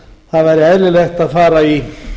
það væri eðlilegt að fara í